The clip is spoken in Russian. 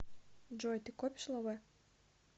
джой ты копишь лавэ